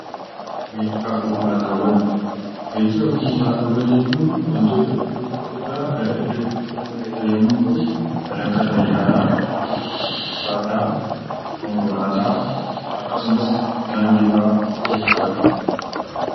Geejjibaa fi konkolaataawwan Geejjibaa fi konkolaataawwan jechuun wantoota iddoo tokko irraa gara iddoo tokkootti nama geessan yommuu ta'uu, kan akka Xiyyaaraa, Fardaa, Konkolaataa akkasumas Gaangee fa'a of keessatti qabata.